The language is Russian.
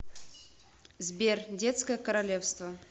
сбер детское королевство